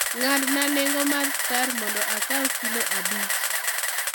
ng'adna nengo mar skar mondo akaw kilo abich